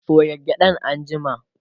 soya gyaɗan anjima!